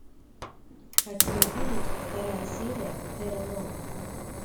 хочу увидеть вторая серия терра нова